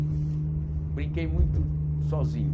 Brinquei muito sozinho.